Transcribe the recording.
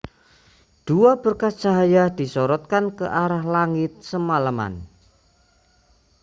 dua berkas cahaya disorotkan ke arah langit semalaman